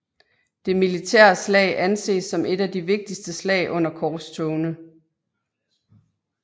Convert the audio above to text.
Det militære slag anses som et af de vigtigste slag under korstogene